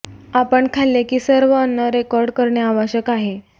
आपण खाल्ले की सर्व अन्न रेकॉर्ड करणे आवश्यक आहे